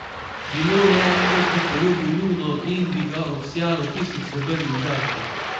Bilo je, kot bi poljubil luno in bi ga obsijalo tisoč srebrnih žarkov.